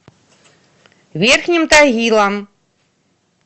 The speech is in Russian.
верхним тагилом